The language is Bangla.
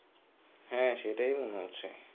হ্যাঁ সেটাই মনে হচ্ছে.